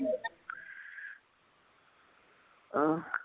ਆਹ